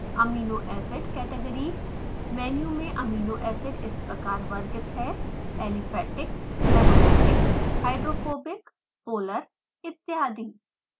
amino acid category menu में amino acids इस प्रकार वर्गित हैं: aliphatic aromatic hydrophobic polar इत्यादि